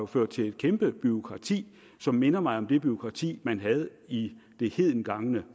ført til et kæmpe bureaukrati som minder mig om det bureaukrati man havde i det hedengangne